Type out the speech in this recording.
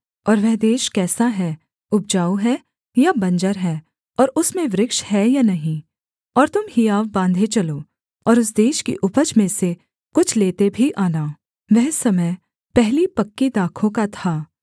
और वह देश कैसा है उपजाऊ है या बंजर है और उसमें वृक्ष हैं या नहीं और तुम हियाव बाँधे चलो और उस देश की उपज में से कुछ लेते भी आना वह समय पहली पक्की दाखों का था